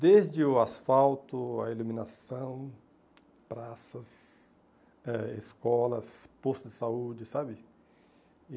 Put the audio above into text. Desde o asfalto, a iluminação, praças, eh escolas, postos de saúde, sabe?